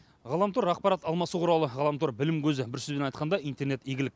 ғаламтор ақпарат алмасу құралы ғаламтор білім көзі бір сөзбен айтқанда интернет игілік